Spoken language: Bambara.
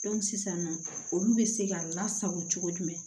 sisan nɔ olu bɛ se ka lasago cogo jumɛn